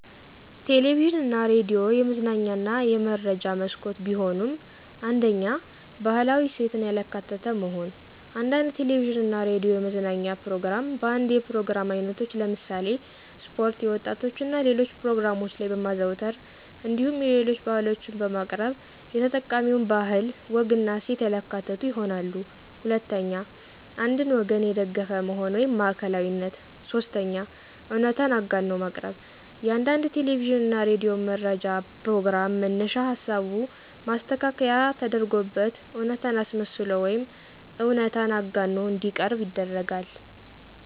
ቴሌቪዥን እና ሬዲዮ የመዝናኛ እና የመረጃ መስኮት ቢሆኑም፤ 1ኛ, ባህላዊ እሴትን ያላካተተ መሆን፦ አንዳንድ ቴለቪዥን እና ሬዲዮ የመዝናኛ ፕሮግራም በአንዳንድ የፕሮግራም አይነቶች ለምሳሌ ስፖርት፣ የወጣቶች እና ሌሎች ፕሮግራሞች ላይ በማዘውተር እንዲሁም የሌሎች ባህሎችን በማቅረብ የተጠቃሚውን ባህል፣ ወግና እሴት ያላካተቱ ይሆናሉ። 2ኛ, አንድን ወገን የደገፈ መሆን (ማዕከላዊነት)፦ 3ኛ, እውነታን አጋኖ ማቅረብ፦ የአንዳንድ ቴለቪዥን እና ሬዲዮ መረጃ ፕሮግራም መነሻ ሀሳቡ ማስተካከያ ተደርጎበት እውነታን አስመስሎ ወይም እውነታን አጋኖ እንዲቀርብ ይደረጋል።